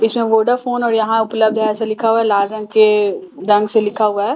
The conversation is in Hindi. इसमें वोडाफोन और यहां उपलब्ध है ऐसा लिखा हुआ है लाल रंग के रंग से लिखा हुआ है और वो --